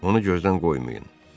Onu gözdən qoymayın.